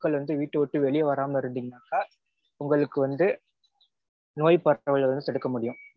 மக்கள் வந்து வீட்ட விட்டு வெளிய வராம இருந்தீங்கனா உங்களுக்கு வந்து நோய் பரவல வந்து தடுக்க முடியும்